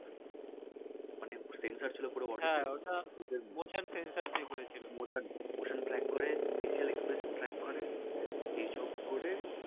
মানে sensor ছিল Motion Motion Track করে f acial expression track করে এই সব করে